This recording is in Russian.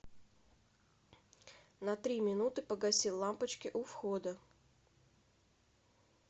на три минуты погаси лампочки у входа